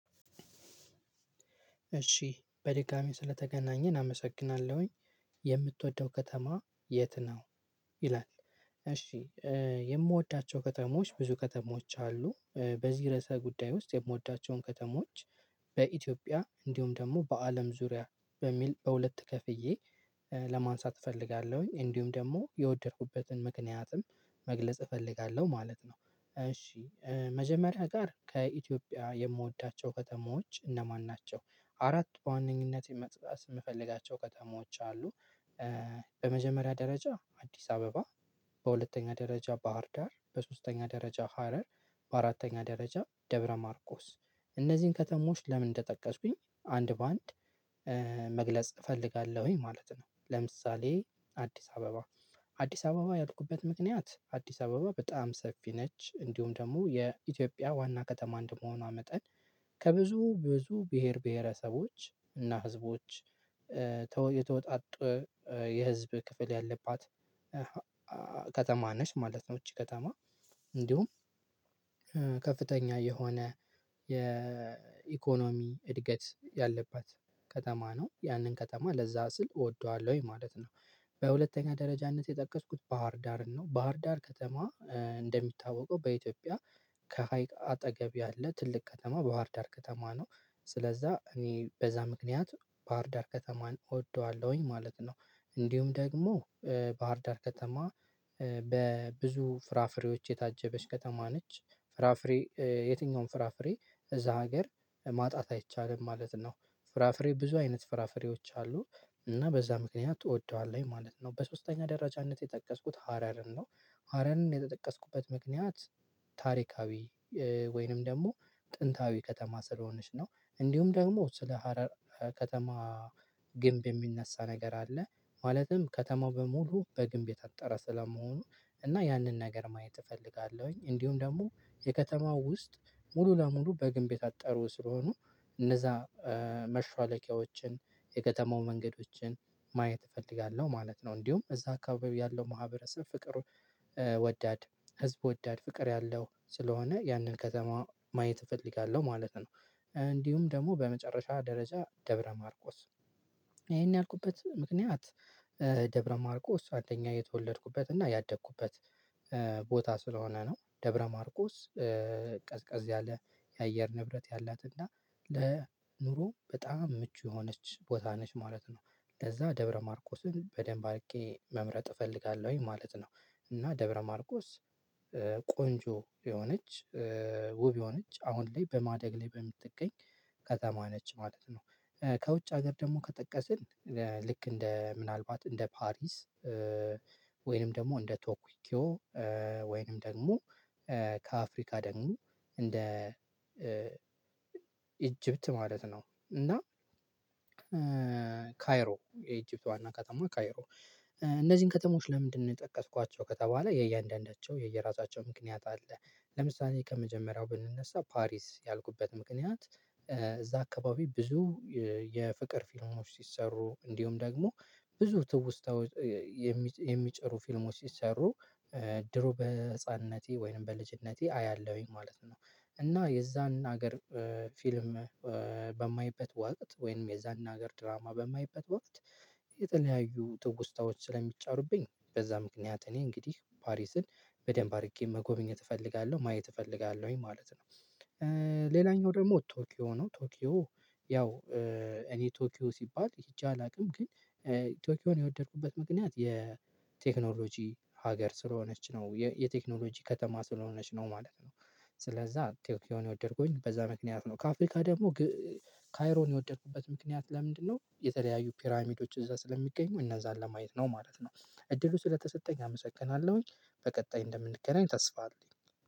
እሺ በድጋሚ ስለተገናኘን አመሰግናለሁኝ የምትወደው ከተማ የት ነው ይላል? እሺ የምወዳቸው ከተሞች ብዙ ከተሞች አሉ በዚህ ርዕሰ ጉዳይ ውስጥ የምወዳቸውን ከተሞች በኢትዮጵያ እንዲሁም ደግሞ በአለም ዙሪያ በሚል በሁለት ከፍዬ ለማንሳት እፈልጋለሁኝ እንዲሁም ደግሞ የወደድኩበትን ምክንያትም መግለጽ እፈልጋለሁ ማለት ነው። እሺ መጀመሪያ ጋር ከኢትዮጵያ የምወዳቸው ከተሞች እነማን ናቸው? አራት በዋነኝነት መጥራት የምፈልጋቸው ከተሞች አሉ በመጀመሪያ ደረጃ አዲስ አበባ በሁለተኛ ደረጃ ባህር ዳር በሶስተኛ ደረጃ ሀረር በአራተኛ ደረጃ ደብረ ማርቆስ እነዚህን ከተሞች ለምን እንደጠቀስኩኝ አንድ በአንድ መግለጽ እፈልጋለሁኝ ማለት ነው። ለምሳሌ አዲስ አበባ አዲስ አበባ ያልኩበት ምክንያት አዲስ አበባ በጣም ሰፊ ነች እንዲሁም ደግሞ የኢትዮጵያ ዋና ከተማ እንደመሆኗ መጠን ከብዙ ብዙ ብሄር ብሄረሰቦች እና ህዝቦች የተወጣጡ የህዝብ ክፍል ያለባት ከተማ ነች ማለት ነው። ይቺ ከተማ እንዲሁም ከፍተኛ የሆነ የኢኮኖሚ እድገት ያለባት ከተማ ነው ያንን ከተማ ለዛ ስል እወደዋለሁኝ ማለት ነው። በሁለተኛ ደረጃነት የጠቀስኩት ባህርዳርን ነው ባህርዳር ከተማ እንደሚታወቀው በኢትዮጵያ ከሀይቅ አጠገብ ያለ ትልቅ ከተማ ባህር ዳር ከተማ ነው። ስለዛ እኔ በዛ ምክንያት ባህር ዳር ከተማን እወደዋለሁኝ ማለት ነው። እንዲሁም ደግሞ ባህር ዳር ከተማ በብዙ ፍራፍሬዎች የታጀበች ከተማ ነች ፍራፍሬ የትኛውም ፍራፍሬ እዛ ሀገር ማጣት አይቻልም ማለት ነው። ፍራፍሬ ብዙ አይነት ፍራፍሬዎች አሉ እና በዛ ምክንያት እወደዋለሁኝ ማለት ነው። በሶስተኛ ደረጃነት የጠቀስኩት ሀረርን ነው ሀረርን የተጠቀስኩበት ምክንያት ታሪካዊ ወይንም ደግሞ ጥንታዊ ከተማ ስለሆነች ነው። እንዲሁም ደግሞ ስለ ሀረር ከተማ ግንብ የሚነሳ ነገር አለ። ማለትም ከተማው በሙሉ በግንብ የታጠረ ስለመሆኑ እና ያንን ነገር ማየት እፈልጋለሁኝ እንዲሁም ደግሞ የከተማው ውስጥ ሙሉ ለሙሉ በግንብ የታጠሩ ስለሆኑ እነዛ መሿለኪያዎችን የከተማው መንገዶችን ማየት እፈልጋለሁ ማለት ነው። እንዲሁም እዛ አካባቢ ያለው ማህበረሰብ ፍቅር ወዳድ ህዝብ ወዳድ ፍቅር ያለው ስለሆነ ያንን ከተማ ማየት እፈልጋለሁ ማለት ነው። እንዲሁም ደግሞ በመጨረሻ ደረጃ ደብረ ማርቆስ ይሄን ያልኩበት ምክንያት ደብረ ማርቆስ አንደኛ የተወለድኩበት እና ያደኩበት ቦታ ስለሆነ ነው። ደብረ ማርቆስ ቀዝቀዝ ያለ የአየር ንብረት ያላት እና ለኑሮ በጣም ምቹ የሆነች ቦታ ነች ማለት ነው። ለዛ ደብረ ማርኮስን በደንብ አርጌ መምረጥ እፈልጋለሁኝ ማለት ነው። እና ደብረ ማርቆስ ቆንጆ የሆነች ውብ የሆነች አሁን ላይ በማደግ ላይ በምትገኝ ከተማ ነች ማለት ነው። ከውጭ ሀገር ደግሞ ከጠቀስን ልክ እንደ ምናልባት እንደ ፓሪስ ወይንም ደግሞ እንደ ቶኪዮ ወይንም ደግሞ ከአፍሪካ ደግሞ እንደ ኢጅፕት ማለት ነው። እና ካይሮ የኢጅፕት ዋና ከተማ ካይሮ እነዚህን ከተሞች ለምንድነው የጠቀስኳቸው ከተባለ የእያንዳንዳቸው የእየራሳቸው ምክንያት አለ? ለምሳሌ ከመጀመሪያው ብንነሳ ፓሪስ ያልኩበት ምክንያት እዛ አካባቢ ብዙ የፍቅር ፊልሞች ሲሰሩ እንዲሁም ደግሞ ብዙ ትውስታ የሚጨሩ ፊልሞች ሲሰሩ ድሮ በህፃንነቴ ወይም በልጅነቴ አያለሁኝ ማለት ነው። እና የዛን ሀገር ፊልም በማይበት ወቅት ወይም የዛን ሀገር ድራማ በማይበት ወቅት የተለያዩ ትውስታዎች ስለሚጫሩብኝ በዛ ምክንያት እኔ እንግዲህ ፓሪስን በደንብ አርጌ መጎብኘት እፈልጋለሁ ማየት እፈልጋለሁኝ ማለት ነው። ሌላኛው ደግሞ ቶኪዮ ነው። ቶኪዮ ያው እኔ ቶኪዮ ሲባል ሄጄ አላውቅም ግን ቶኪዮን የወደድኩበት ምክንያት የቴክኖሎጂ ሀገር ስለሆነች ነው የቴክኖሎጂ ከተማ ስለሆነች ነው ማለት ነው። ስለዛ ቶኪዮን የወደድኩኝ በዛ ምክንያት ነው ከአፍሪካ ደግሞ ካይሮን የወደድኩበት ምክንያት ለምንድነው የተለያዩ ፒራሚዶች እዛ ስለሚገኙ እነዛን ለማየት ነው ማለት ነው። እድሉ ስለተሰጠኝ አመሰግናለሁኝ በቀጣይ እንደምንገናኝ ታስፋ አለኝ